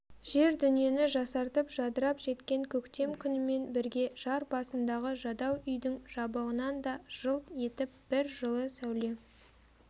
жер-дүниені жасартып жадырап жеткен көктем күнімен бірге жар басындағы жадау үйдің жабығынан да жылт етіп бір жылы сәуле